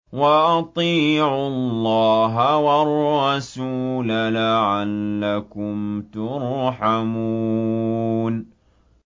وَأَطِيعُوا اللَّهَ وَالرَّسُولَ لَعَلَّكُمْ تُرْحَمُونَ